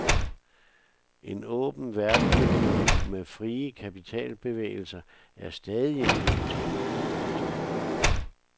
En åben verdensøkonomi med frie kapitalbevægelser er stadig en god ting. punktum